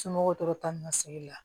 Somɔgɔw tora ta ni ka segin la